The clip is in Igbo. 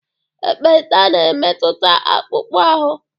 ekpenta na-emetụta akpụkpọ ahụ